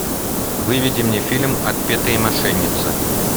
выведи мне фильм отпетые мошенницы